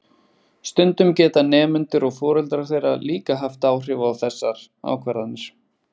Stundum geta nemendur og foreldrar þeirra líka haft áhrif á þessar ákvarðanir.